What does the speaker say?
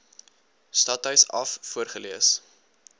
stadhuis af voorgelees